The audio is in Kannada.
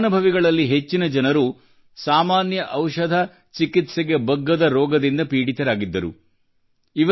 ಈ ಫಲಾನುಭವಿಗಳಲ್ಲಿ ಹೆಚ್ಚಿನ ಜನರು ಸಾಮಾನ್ಯ ಔಷಧ ಚಿಕಿತ್ಸೆಗೆ ಬಗ್ಗದ ರೋಗದಿಂದ ಪೀಡಿತರಾಗಿದ್ದರು